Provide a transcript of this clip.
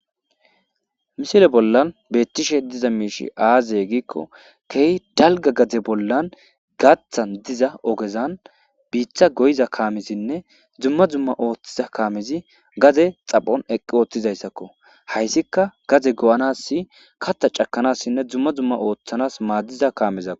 misile bollan beettishe diza miishi aaze giikko kehi dalga gade bollan gaathan diza ogezan biitha goyiza kaamizinne dzumma zumma ooththiza kaamezi gaze xaphon eqqi ooththizayssakko hayssikka gaze go'anassi katta cakanassinne dzumma zumma ooththanas maaddiza kaamezako